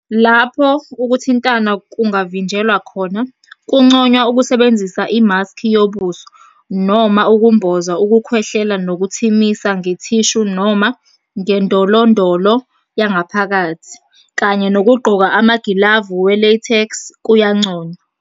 Lapho ukuthintana kungavinjelwa khona, kunconywa ukusebenzisa imaskhi yobuso, noma ukumboza ukukhwehlela nokuthimisa ngethishu noma ngendololondo yangaphakathi, kanye nokugqoka amagilavu ​​we-latex kuyanconywa.